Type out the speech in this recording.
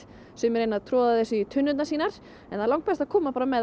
sumir reyna að troða þessu í tunnurnar sínar en það er langbest að koma bara með